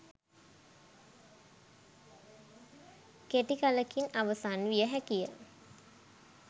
කෙටි කලකින් අවසන් විය හැකිය.